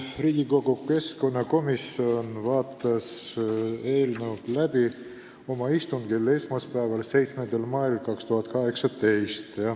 Riigikogu keskkonnakomisjon vaatas eelnõu läbi oma istungil esmaspäeval, 7. mail 2018.